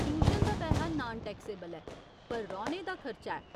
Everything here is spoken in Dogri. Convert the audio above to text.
ट्यूशन दा पैहा नान टैक्सेबल ऐ, पर रौह्‌ने दा खर्चा ऐ।